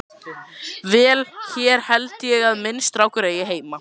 Vel, hér held ég að minn strákur eigi heima.